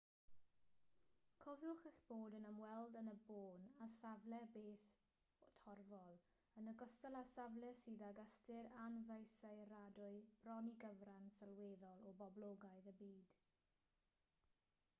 cofiwch eich bod yn ymweld yn y bôn â safle bedd torfol yn ogystal â safle sydd ag ystyr anfesuradwy bron i gyfran sylweddol o boblogaeth y byd